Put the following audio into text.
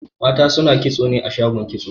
Mata suna kitso ne a shagon kitso